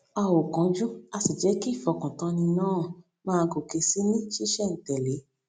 a ò kánjú a sì jẹ kí ìfọkàntánni náà máa gòkè sí i ní ṣísẹntèlé